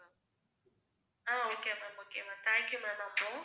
ah okay ma'am, okay ma'am, thank you ma'am